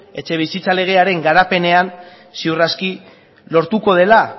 etxebizitza legearen garapenean ziur aski lortuko dela